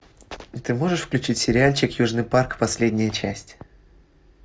ты можешь включить сериальчик южный парк последняя часть